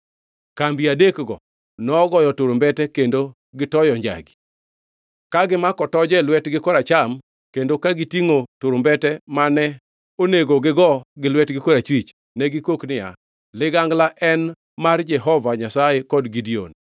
Kambi adekgi nogoyo turumbete kendo gitoyo njagi. Ka gimako toje gi lwetgi koracham kendo ka gitingʼo turumbete mane onego gi goo gi lwetgi korachwich, ne gikok niya, “Ligangla en mar Jehova Nyasaye kod Gideon!”